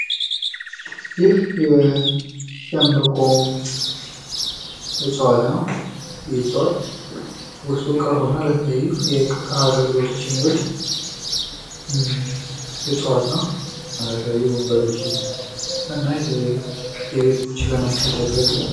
ይህ የሸምበቆ እፅዋት ነው። ይህ እፅዋት ውስጡ ክፍት የሆነና ለቀርቀሀ አግልግሎት የሚውል እፅዋት ነው ።እና ለተለያዩ ወንበሮችንና የተለያዩ የቤት እቃዎችን ለመስራት ያገለግላል ።